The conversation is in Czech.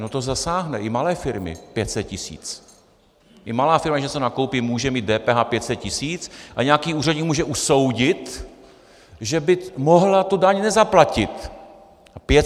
No to zasáhne i malé firmy, 500 tis., i malá firma, když něco nakoupí, může mít DPH 500 tis. a nějaký úředník může usoudit, že by mohla tu daň nezaplatit.